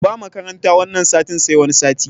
Ba makaranta wanan satin sai wani sati